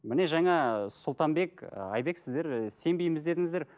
міне жаңа сұлтанбек айбек сіздер і сенбейміз дедіңіздер